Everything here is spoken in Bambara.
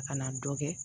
A kana dɔ kɛ